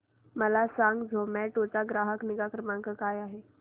मला सांगा झोमॅटो चा ग्राहक निगा क्रमांक काय आहे